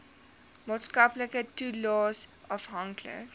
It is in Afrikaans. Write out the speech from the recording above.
maatskaplike toelaes afhanklik